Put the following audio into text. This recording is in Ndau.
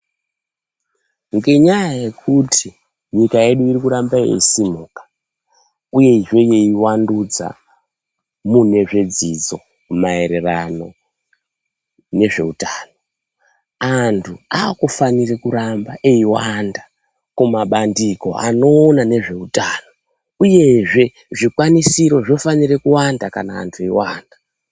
Ngenyaya yekuti nyika yedu irikuramba yeisimuka uyezve yeiwandudza mune zvedzidzo maererano nezveutano antu akufanire kuramba eiwanda kumabandiko anowone nezveutano uyezve zvikwanisiro zvakufanikira kuwanda kana antu eiwanda.